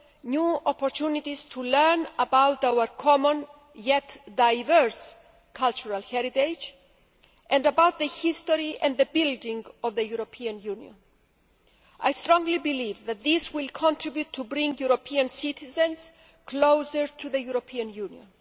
new opportunities to learn about our common yet diverse cultural heritage and about the history and the building of the European Union. I strongly believe that this will contribute to bringing European citizens closer to the European Union.